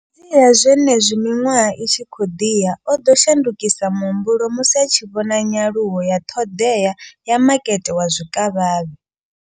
Fhedziha, zwenezwi miṅwaha i tshi khou ḓi ya, o ḓo shandukisa muhumbulo musi a tshi vhona nyaluwo ya ṱhoḓea ya makete wa zwikavhavhe.